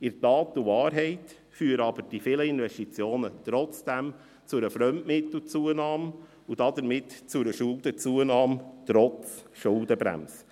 In Tat und Wahrheit führen diese vielen Investitionen aber trotzdem zu einer Fremdmittelzunahme – und damit zu einer Schuldenzunahme trotz Schuldenbremse.